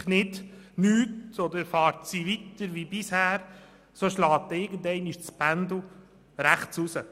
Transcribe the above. Unternimmt die Politik nichts oder fährt sie weiter wie bisher, schlägt das Pendel irgendwann nach rechts aussen.